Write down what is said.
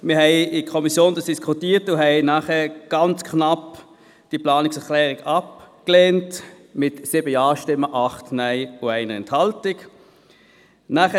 Wir haben in der Kommission darüber diskutiert und diese Planungserklärung nachher ganz knapp mit 7 Ja- zu 8 Nein-Stimmen bei 1 Enthaltung abgelehnt.